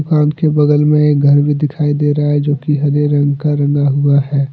कान के बगल में एक घर भी दिखाई दे रहा है जो की हरे रंग का रंग हुआ है।